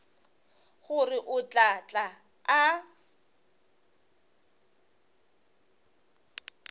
gore o tla tla a